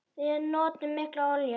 Við notum mikla olíu.